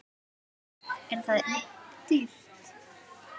Er það dýrt?